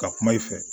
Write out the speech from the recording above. Ka kuma i fɛ